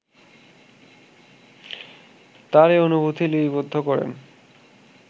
তার এ অনুভূতি লিপিবদ্ধ করেন